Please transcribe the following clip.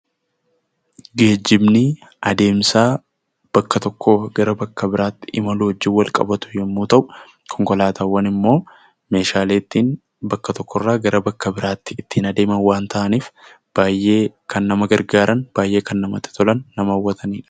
Geejjibni adeemsa bakka tokkoo gara bakka biraatti imaluu wajjin walqabatu yommuu ta'u, konkolaataawwan immoo meeshaalee ittiin bakka tokkorraa gara bakka biraatti ittiin adeeman waan ta'aniif baay'ee kan nama gargaaran baay'ee kan namattti tolan nama hawwatanidha.